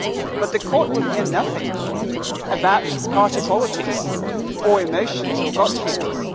But the court will hear nothing about party politics or emotions or gut feelings.